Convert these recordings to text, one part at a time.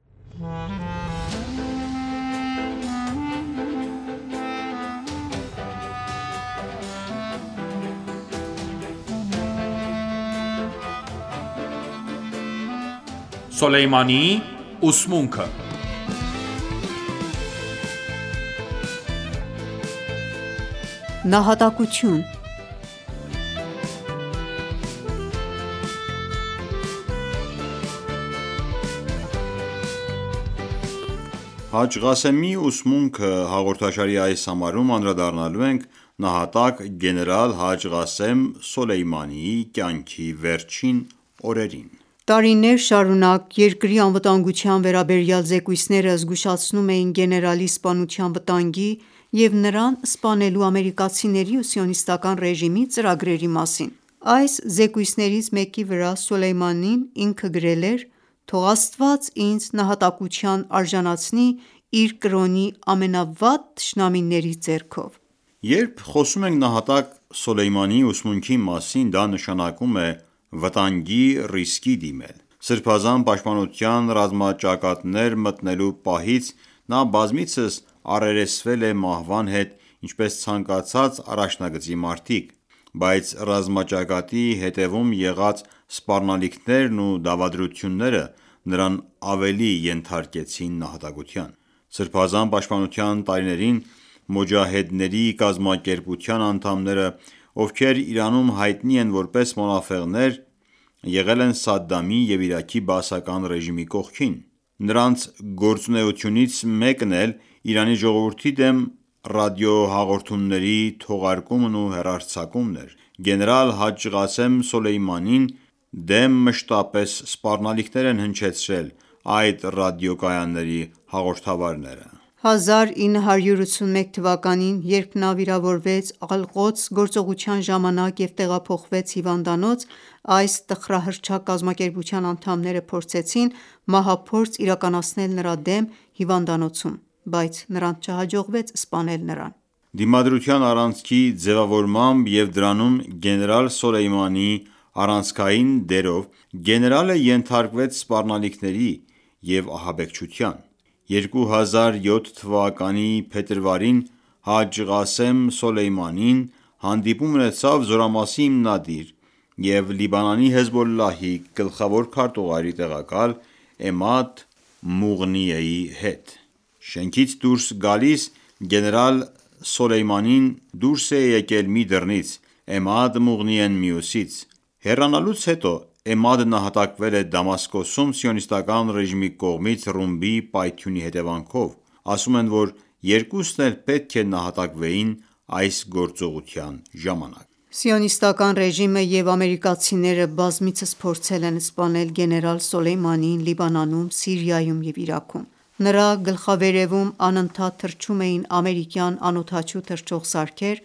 Գեներալ Սոլեյմանիի ուսմունքը «Հաջ Ղասեմի ուսմունքը» հաղորդաշարի այս համարում անդրադառնալու ենք նահատակ գեներալ Հաջ Ղասեմ Սոլեյմանիի կյանքի վերջին օրերին: Տարիներ շարունակ երկրի անվտանգության վերաբերյալ զեկույցները զգուշացնում էին գեներալի սպանության վտանգի և նրան սպանելու ամերիկացիների ու Սիոնիստական ռեժիմի ծրագրերի մասին: Այս զեկույցներից մեկի վրա Սոլեյմանին ինքը գրել էր. «Թող Աստված ինձ նահատակության արժանացնի իր կրոնի ամենավատ թշնամիների ձեռքով»: Երբ խոսում ենք Նահատակ Սոլեյմանիի ուսմունքի մասին, դա նշանակում է վտանգի ռիսկի դիմել։ Սրբազան պաշտպանության ռազմաճակատներ մտնելու պահից նա բազմիցս առերեսվել է մահվան հետ, ինչպես ցանկացած առաջնագծի մարտիկ։ Բայց ռազմաճակատի հետևում եղած սպառնալիքներն ու դավադրությունները նրան ավելի ենթարկեցին նահատակության: Սրբազան պաշտպանության տարիներին Մոջահեդների կազմակերպության անդամները, ովքեր Իրանում հայտնի են որպես մոնաֆեղներ, եղել են Սադամի և Իրաքի բաասական ռեժիմի կողքին։ Նրանց գործունեությունից մեկն էլ Իրանի ժողովրդի դեմ ռադիոհաղորդումների թողարկումն ու հեռարձակումն էր։ Գեներալ Հաջ Ղասեմ Սոլեյմանին դեմ մշտապես սպառնալիքներ են հնչեցրել այդ ռադիոկայանների հաղորդավարները: 1981 թվականին, երբ նա վիրավորվեց Ալ-Ղոդս գործողության ժամանակ և տեղափոխվեց հիվանդանոց, այս տխրահռչակ կազմակերպության անդամները փորձեցին մահափորձ իրականացնել նրա դեմ հիվանդանոցում բայց նրանց չհաջողվեց սպանել նրան։ Դիմադրության առանցքի ձևավորմամբ և դրանում գեներալ Սոլեյմանիի առանցքային դերով գեներալը ենթարկվեց սպառնալիքների և ահաբեկչության։ 2007 թվականի փետրվարին Հաջ Ղասեմ Սոլեյմանին հանդիպում ունեցավ զորամասի հիմնադիր և Լիբանանի Հեզբոլլահի գլխավոր քարտուղարի տեղակալ Էմադ Մուղնիեի հետ։ Շենքից դուրս գալիս՝ գեներալ Սոլեյմանին դուրս է եկել մի դռնից, Էմադ Մուղնիեն՝ մյուսից։ Հեռանալուց հետո Էմադը նահատակվել է Դամասկոսում Սիոնիստական ռեժիմի կողմից ռումբի պայթյունի հետևանքով։ Ասում են, որ երկուսն էլ պետք է նահատակվեին այս գործողության ժամանակ։ Սիոնիստական ռեժիմը և ամերիկացիները բազմիցս փորձել են սպանել գեներալ Սոլեյմանիին Լիբանանում, Սիրիայում և Իրաքում։ Նրա գլխավերեւում անընդհատ թռչում էին ամերիկյան անօդաչու թռչող սարքեր,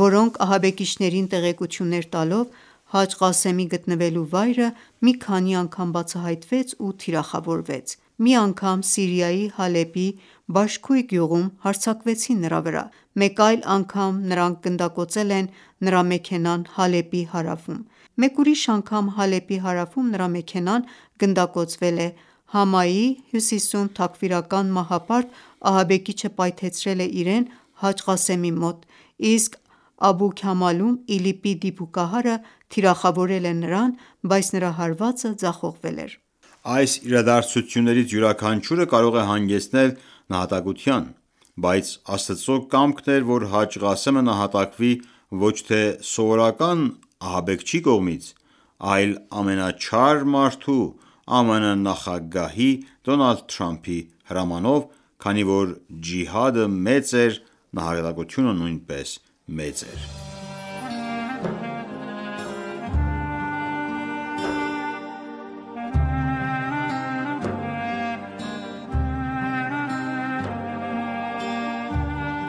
որոնք ահաբեկիչներին տեղեկություններ տալով՝ Հաջ Ղասեմի գտնվելու վայրը մի քանի անգամ բացահայտվեց ու թիրախավորվեց։ Մի անգամ Սիրիայի Հալեպի Բաշքույ գյուղում հարձակվեցին նրա վրա։ Մեկ այլ անգամ նրանք գնդակոծել են նրա մեքենան Հալեպի հարավում։ Մեկ ուրիշ անգամ Հալեպի հարավում նրա մեքենան գնդակոծվել է, Համայի հյուսիսում թաքֆիրական մահապարտ-ահաբեկիչը պայթեցրել է իրեն Հաջ Ղասեմի մոտ, իսկ Աբու Քամալում ԻԼԻՊ-ի դիպուկահարը թիրախավորել է նրան, բայց նրա հարվածը ձախողվել էր: Այս իրադարձություններից յուրաքանչյուրը կարող է հանգեցնել նահատակության: Բայց Աստծո կամքն էր, որ Հաջ Ղասեմը նահատակվի ոչ թե սովորական ահաբեկչի կողմից, այլ ամենաչար մարդու՝ ԱՄՆ նախագահի՝ Դոնալդ Թրամփի հրամանով։ Քանի որ ջիհադը մեծ էր, նահատակությունը նույնպես մեծ էր: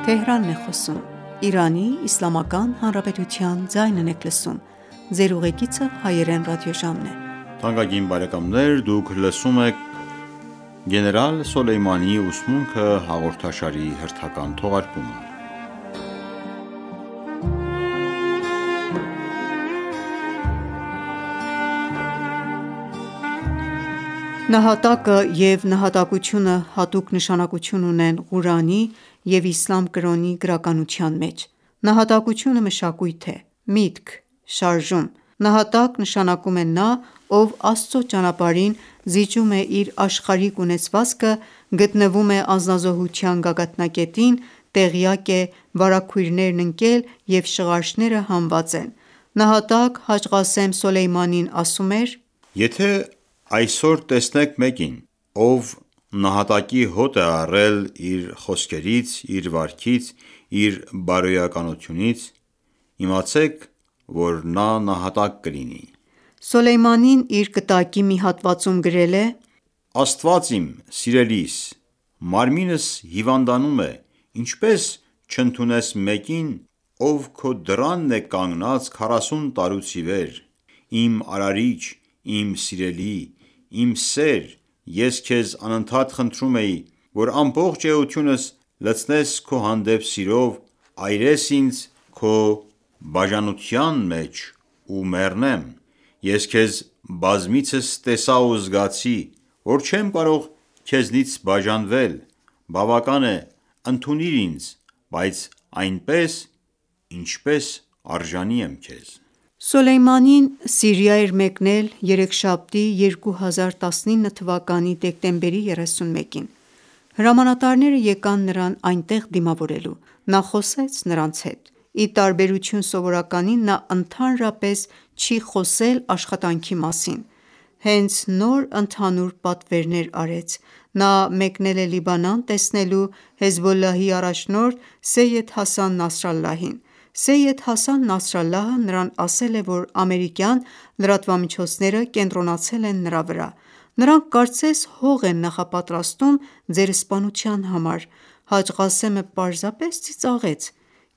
Նահատակը և նահատակությունը հատուկ նշանակություն ունեն Ղուրանի և իսլամ կրոնի գրականության մեջ: Նահատակությունը մշակույթ է, միտք, շարժում։ Նահատակ նշանակում է նա, ով Աստծո ճանապարհին զիջում է իր աշխարհիկ ունեցվածքը, գտնվում է անձնազոհության գագաթնակետին, տեղյակ է, վարագույրներն ընկել և շղարշները հանված են: Նահատակ Հաջ Ղասեմ Սոլեյմանին ասում էր. «Եթե այսօր տեսնեք մեկին, ով նահատակի հոտ է առել իր խոսքերից, իր վարքից, իր բարոյականությունից, իմացեք, որ նա նահատակ կլինի»: Նա իր կտակի մի հատվածում գրել է. «Աստված իմ, սիրելիս: Մարմինս հիվանդանում է, ինչպե՞ս չընդունես մեկին, ով քո դռանն է կանգնած քառասուն տարուց ի վեր։ Իմ արարիչ, իմ սիրելի, իմ սեր, ես քեզ անընդհատ խնդրում էի, որ ամբողջ էությունս լցնես քո հանդեպ սիրով, այրես ինձ քո բաժանության մեջ ու մեռնեմ... Ես քեզ բազմիցս տեսա ու զգացի, որ չեմ կարող քեզնից բաժանվել, բավական է, ընդունիր ինձ, բայց այնպես, ինչպես արժանի եմ քեզ...»: Նա Սիրիա էր մեկնել երեքշաբթի 2019-ին թվականի դեկտեմբերի 31-ին։ Հրամանատարները եկան նրան այնտեղ դիմավորելու։ Նա խոսեց նրանց հետ։ Ի տարբերություն սովորականի, նա ընդհանրապես չի խոսել աշխատանքի մասին։ Հենց նոր ընդհանուր պատվերներ արեց: Նա մեկնել է Լիբանան՝ տեսնելու Հեզբոլլահի առաջնորդ Սեյյեդ Հասան Նասրալլահին։ Սեյյեդ Հասան Նասրալլահը նրան ասել է, որ ամերիկյան լրատվամիջոցները կենտրոնացել են նրա վրա։ Նրանք կարծես հող են նախապատրաստում ձեր սպանության համար։ Հաջ Ղասեմը պարզապես ծիծաղեց։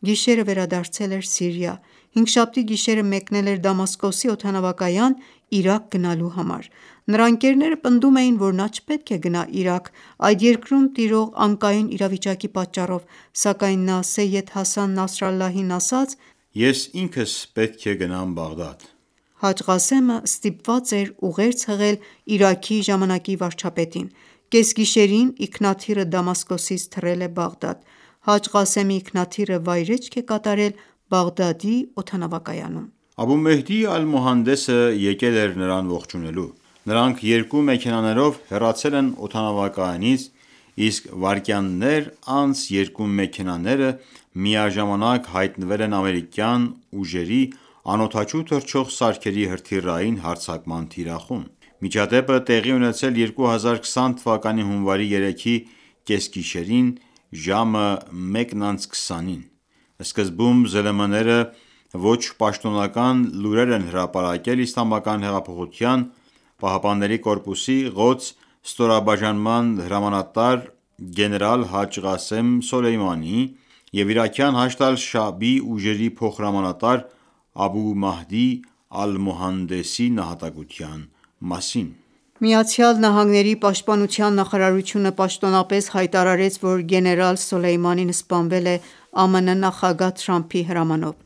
Գիշերը վերադարձել էր Սիրիա, հինգշաբթի գիշերը մեկնել էր Դամասկոսի օդանավակայան՝ Իրաք գնալու համար։ Նրա ընկերները պնդում էին, որ նա չպետք է գնա Իրաք, այդ երկրում տիրող անկայուն իրավիճակի պատճառով, սակայն նա Սեյյեդ Հասան Նասրալլահին ասաց.«Ես ինքս պետք է գնամ Բաղդադ»։ Հաջ Ղասեմը ստիպված էր ուղերձ հղել Իրաքի ժամանակի վարչապետին: Կեսգիշերին ինքնաթիռը Դամասկոսից թռել է Բաղդադ։ Հաջ Ղասեմի ինքնաթիռը վայրէջք է կատարել Բաղդադի օդանավակայանում: Աբու Մեհդի Ալ-Մոհանդեսը եկել էր նրան ողջունելու։ Նրանք երկու մեքենաներով հեռացել են օդանավակայանից, իսկ վայրկյաններ անց երկու մեքենաները միաժամանակ հայտնվել են ամերիկյան ուժերի անօդաչու թռչող սարքերի հրթիռային հարձակման թիրախում։ Միջադեպը տեղի է ունեցել 2020 թվականի հունվարի 3-ի կեսգիշերին ժամաը 1:20-ին... Սկզբում ԶԼՄ-ները ոչ պաշտոնական լուրեր են հրապարակել Իսլամական հեղափոխության պահապանների կորպուսի «Ղոդս» ստորաբաժանման հրամանատար գեներալ Հաջ Ղասեմ Սոլեյմանիի և Իրաքյան Հաշդ ալ-Շաաբի ուժերի փոխհրամանատար Աբու Մեհդի Ալ-Մոհանդեսի նահատակության մասին: ԱՄՆ պաշտպանության նախարարությունը պաշտոնապես հայտարարեց, որ գեներալ Սոլեյմանին սպանվել է ԱՄՆ նախագահ Թրամփի հրամանով։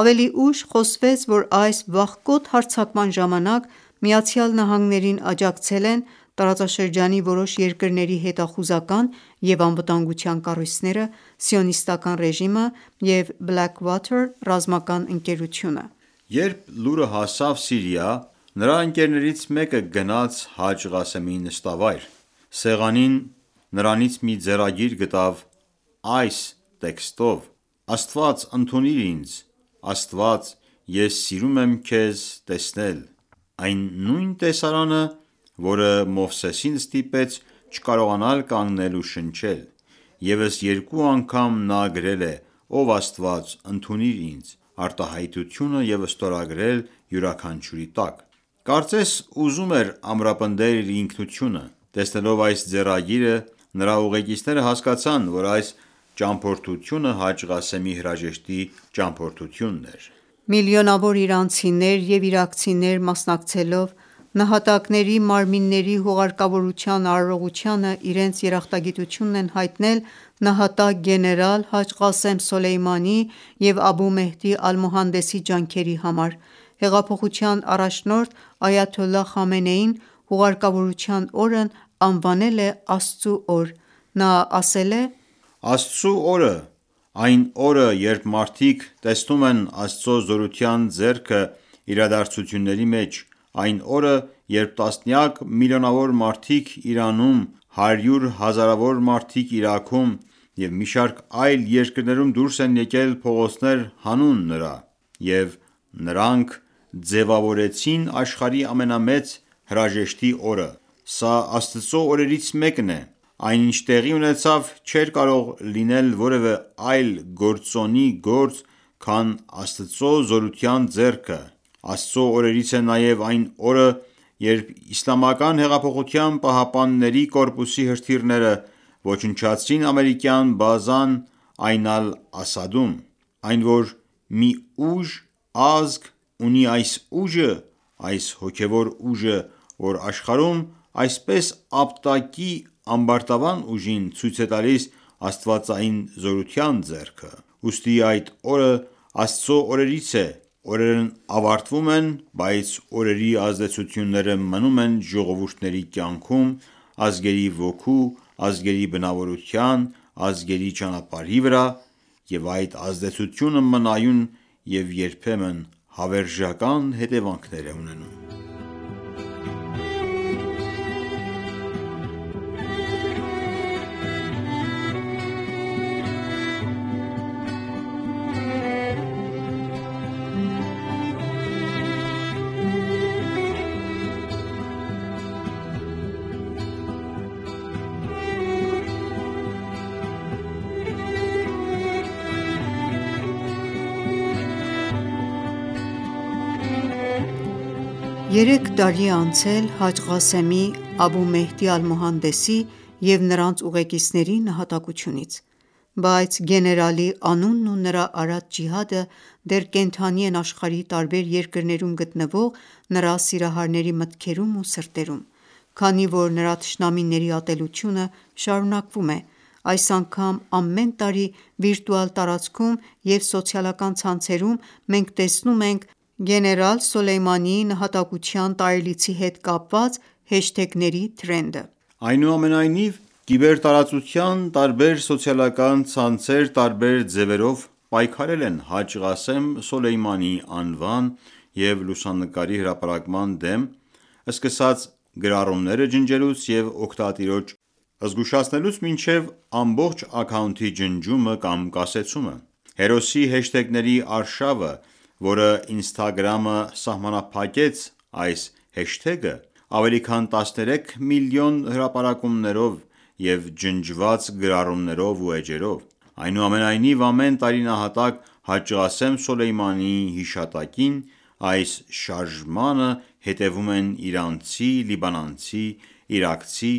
Ավելի ուշ խոսվեց, որ այս վախկոտ հարձակման ժամանակ ԱՄՆ-ին աջակցել են տարածաշրջանի որոշ երկրների հետախուզական և անվտանգության կառույցները, Սիոնիստական ռեժիմը և Blackwater ռազմական ընկերությունը։ Երբ լուրը հասավ Սիրիա, նրա ընկերներից մեկը գնաց Հաջ Ղասեմի նստավայր։ Սեղանին նրանից մի ձեռագիր գտավ այս տեքստով՝ Աստված, ընդունիր ինձ, Աստված, ես սիրում եմ քեզ տեսնել, այն նույն տեսարանը, որը Մովսեսին ստիպեց չկարողանալ կանգնել ու շնչել... Եվս երկու անգամ նա գրել է «Ով Աստված, ընդունիր ինձ » արտահայտությունը և ստորագրել յուրաքանչյուրի տակ։ Կարծես ուզում էր ամրապնդել իր ինքնությունը։ Տեսնելով այս ձեռագիրը՝ նրա ուղեկիցները հասկացան, որ այս ճամփորդությունը Հաջ Ղասեմի հրաժեշտի ճամփորդությունն էր։ Միլիոնավոր իրանցիներ և իրաքցիներ մասնակցելով նահատակների մարմինների հուղարկավորության արարողությանը իրենց երախտագիտությունն են հայտնել նահատակ գեներալ Հաջ Ղասեմ Սոլեյմանիի և Աբու Մեհդի Ալ-Մոհանդեսի ջանքերի համար: Հեղափոխության առաջնորդ այաթոլլահ Խամենեին հուղարկավորության օրն անվանել է Աստծու օր։ Նա ասաց.«Աստծու օրը… այն օրը, երբ մարդիկ տեսնում են Աստծո զորության ձեռքը իրադարձությունների մեջ, այն օրը, երբ տասնյակ միլիոնավոր մարդիկ Իրանում, հարյուր հազարավոր մարդիկ Իրաքում և մի շարք այլ երկրներում դուրս եկան փողոցներ հանուն նրա: Եվ նրանք ձևավորեցին աշխարհի ամենամեծ հրաժեշտի օրը:Սա Աստծու օրերից մեկն է: Այն, ինչ տեղի ունեցավ, չէր կարող լինել որևէ այլ գործոնի գործ, քան Աստծո զորության ձեռքը: Աստծու օրերից է նաև այն օրը, երբ Իսլամական հեղափոխության պահապանների կորպուսի հրթիռները ոչնչացրին ամերիկյան բազան Այն ալ-Ասադ-ում: Այն, որ մի ուժ, ազգ, ունի այս ուժը, այս հոգևոր ուժը, որ աշխարհում այսպես ապտակի ամբարտավան ուժին, ցույց է տալիս աստվածային զորության ձեռքը։ Ուստի այդ օրը Աստծո օրերից է, օրերն ավարտվում են, բայց այս օրերի ազդեցությունները մնում են ժողովուրդների կյանքում, ազգերի ոգու, ազգերի բնավորության, ազգերի ճանապարհի վրա, և այդ ազդեցությունը մնայուն և երբեմն հավերժական հետևանքներ է ունենում»: Երեք տարի է անցել Հաջ Ղասեմի, Աբու Մեհդի Ալ-Մոհանդեսի և նրանց ուղեկիցների նահատակությունից։ Բայց գեներալի անունն ու նրա արած ջիհադը դեռ կենդանի են աշխարհի տարբեր երկրներում գտնվող նրա սիրահարների մտքերում ու սրտերում։ Քանի որ նրա թշնամիների ատելությունը շարունակվում է, այս անգամ ամեն տարի վիրտուալ տարածքում և սոցիալական ցանցերում մենք տեսնում ենք գեներալ Սոլեյմանիի նահատակության տարելիցի հետ կապված հեշթեգերի թրենդը։ Այնուամենայնիվ, կիբերտարածության տարբեր սոցիալական ցանցեր տարբեր ձևերով պայքարել են Հաջ Ղասեմ Սոլեյմանիի անվան և լուսանկարի հրապարակման դեմ՝ սկսած գրառումները ջնջելուց և օգտատիրոջը զգուշացնելուց մինչև ամբողջ աքաունթի ջնջումը կամ կասեցումը։ Հերոսի հեշթեգների արշավը, որը Instagram-ը սահմանափակեց այս հեշթեգը ավելի քան 13 միլիոն հրապարակումներով և ջնջված գրառումներով ու էջերով: Այնուամենայնիվ, ամեն տարի նահատակ Հաջ Ղասեմ Սոլեյմանիի հիշատակին, այս շարժմանը հետեւում են իրանցի, լիբանանցի, իրաքցի,